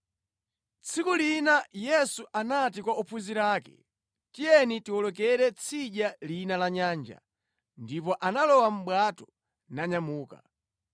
Tsiku lina Yesu anati kwa ophunzira ake, “Tiyeni tiwolokere tsidya lina la nyanja.” Ndipo analowa mʼbwato nanyamuka.